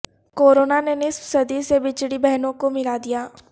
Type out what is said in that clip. corona نے نصف صدی سے بچھڑی بہنوں کو ملا دیا